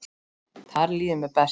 Þar líður mér best.